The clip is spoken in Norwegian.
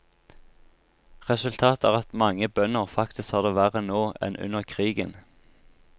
Resultatet er at mange bønder faktisk har det verre nå enn under krigen.